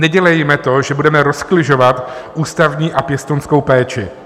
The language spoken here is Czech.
Nedělejme to, že budeme rozkližovat ústavní a pěstounskou péči.